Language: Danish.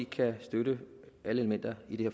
kan støtte alle elementer i